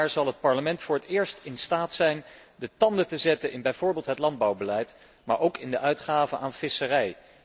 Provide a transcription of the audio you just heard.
Volgend jaar zal het Parlement voor het eerst in staat zijn de tanden te zetten in bijvoorbeeld het landbouwbeleid, maar ook in de uitgaven voor visserij.